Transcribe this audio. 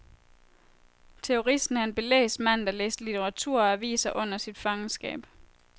Teoristen er en belæst mand, der læste litteratur og aviser under sit fangenskab.